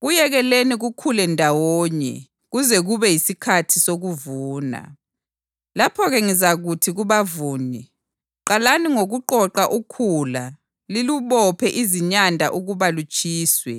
Kuyekeleni kukhule ndawonye kuze kube yisikhathi sokuvuna. Lapho-ke, ngizakuthi kubavuni, Qalani ngokuqoqa ukhula lilubophe izinyanda ukuba lutshiswe,